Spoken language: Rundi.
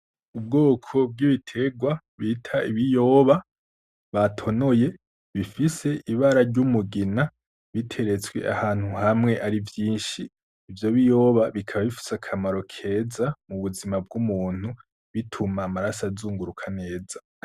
Ubwoko bw'ibiterwa bita ibiyoba batonoye bifise ibara ry'umugina biteretswe ahantu hamwe ari vyinshi, ivyo biyoba bikaba bifise akamaro keza mu buzima bw'umuntu bituma amaraso azunguruka neza.